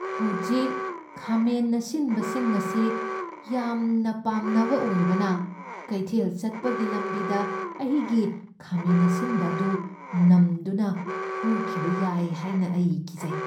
ꯍꯧꯖꯤꯛ ꯈꯥꯃꯦꯟ ꯑꯁꯤꯟꯕꯁꯤꯡ ꯑꯁꯤ ꯌꯥꯝꯅ ꯄꯥꯝꯅꯕ ꯑꯣꯏꯕꯅ, ꯀꯩꯊꯦꯜ ꯆꯠꯄꯒꯤ ꯂꯝꯕꯤꯗ ꯑꯩꯒꯤ ꯈꯥꯃꯦꯟ ꯑꯁꯤꯟꯕ ꯑꯗꯨ ꯅꯝꯗꯨꯅ ꯍꯨꯈꯤꯕ ꯌꯥꯏ ꯍꯥꯏꯅ ꯑꯩ ꯀꯤꯖꯩ꯫